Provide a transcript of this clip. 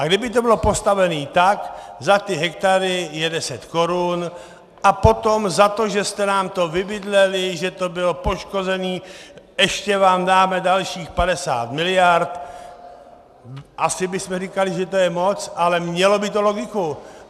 A kdyby to bylo postavené tak, za ty hektary je 10 Kč a potom za to, že jste nám to vybydleli, že to bylo poškozené, ještě vám dáme dalších 50 miliard, asi bychom říkali, že to je moc, ale mělo by to logiku.